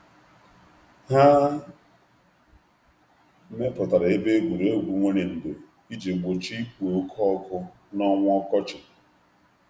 Ha mepụtara ebe egwuregwu nwere ndò iji gbochie ikpo oke ọkụ n’ọnwa ọkọchị.